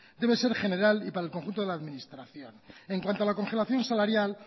debe ser general y para el conjunto de la administración en cuanto a la congelación salarial